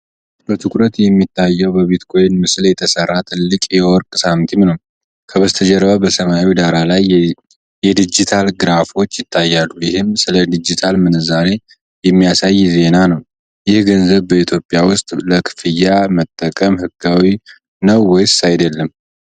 በትኩረት የሚታየው በቢትኮይን ምስል የተሰራ ትልቅ የወርቅ ሳንቲም ነው። ከበስተጀርባ በሰማያዊ ዳራ ላይ የዲጂታል ግራፎች ይታያሉ፤ ይህም ስለ ዲጂታል ምንዛሪ የሚያሳይ ዜና ነው። ይህ ገንዘብ በኢትዮጵያ ውስጥ ለክፍያ መጠቀም ህጋዊ ነው ወይስ አይደለም?